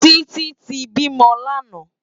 Titi ti bímò làná